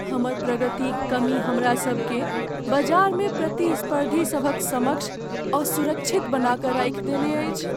हमर प्रगतिक कमी हमरासभकेँ बजारमे प्रतिस्पर्धीसभक समक्ष असुरक्षित बना कऽ राखि देने अछि।